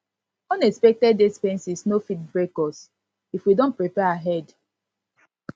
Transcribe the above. unexpected expenses no fit break us if we don prepare ahead